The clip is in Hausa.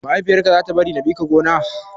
Mahaifiyar ka za ta bari na bi ka gona?